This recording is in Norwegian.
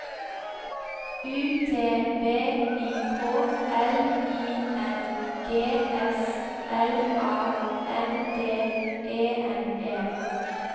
U T V I K L I N G S L A N D E N E